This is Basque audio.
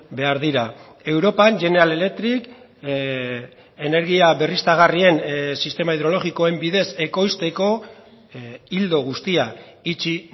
behar dira europan general electric energia berriztagarrien sistema hidrologikoen bidez ekoizteko ildo guztia itxi